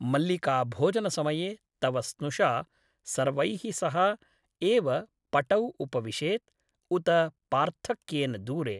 मल्लिका भोजनसमये तव स्नुषा सर्वैः सह एव पटौ उपविशेत् , उत पार्थक्येन दूरे ?